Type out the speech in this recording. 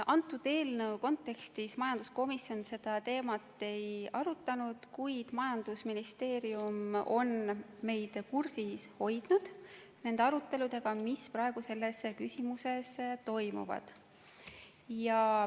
Selle eelnõu kontekstis majanduskomisjon seda teemat ei arutanud, kuid majandusministeerium on meid kursis hoidnud aruteludega, mis praegu selles küsimuses toimuvad.